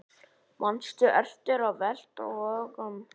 Manstu eftir að velta vöngum?